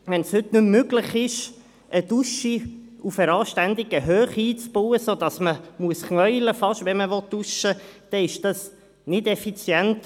Wenn es heute nicht mehr möglich ist, eine Dusche auf einer anständigen Höhe einzubauen, um sich nicht hinknien zu müssen, während man duscht, ist dies nicht effizient.